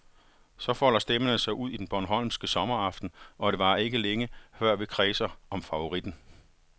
Så folder stemmerne sig ud i den bornholmske sommeraften, og det varer ikke længe, før vi kredser om favoritten.